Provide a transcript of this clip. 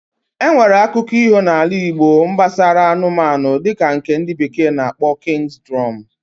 Enwere akụko iho na ala igbo nbasara anụmanụ dika nke ndi bekee na akpo King's Drum